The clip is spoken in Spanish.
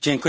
Señor